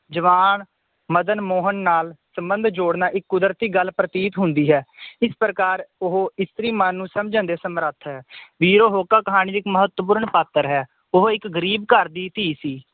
ਜਵਾਨ ਮਦਨ ਮੋਹਨ ਨਾਲ ਸੰਬੰਧ ਜੋੜਨਾ ਇੱਕ ਕੁਦਰਤੀ ਗੱਲ ਪ੍ਰਤੀਤ ਹੁੰਦੀ ਹੈ ਇਸ ਪ੍ਰਕਾਰ ਉਹ ਇਕ ਇਸਤਰੀ ਮਨ ਨੂੰ ਸਮਝਣ ਦੇ ਸਮਰਥ ਹੈ ਵੀਰੋ ਹੋਕਾ ਕਹਾਣੀ ਦੀ ਇੱਕ ਮਹੱਤਵਪੂਰਨ ਪਾਤਰ ਹੈ ਉਹ ਇੱਕ ਗਰੀਬ ਘਰ ਦੀ ਧੀ ਸੀ